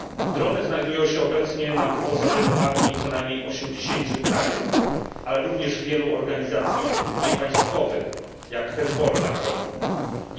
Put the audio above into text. Drony znajdują się obecnie na wyposażeniu armii co najmniej 80 krajów, ale również wielu organizacji niepaństwowych, jak chociażby Hezbollah.